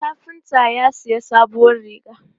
Kafinta ya sayi sabuwar riga.